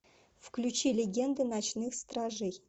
включи легенды ночных стражей